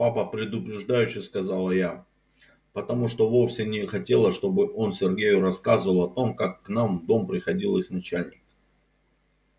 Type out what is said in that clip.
папа предупреждающе сказала я потому что вовсе не хотела чтобы он сергею рассказывал о том как к нам в дом приходил их начальник